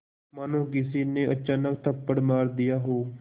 मानो किसी ने अचानक थप्पड़ मार दिया हो